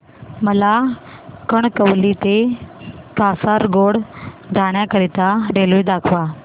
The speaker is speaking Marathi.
मला कणकवली ते कासारगोड जाण्या करीता रेल्वे दाखवा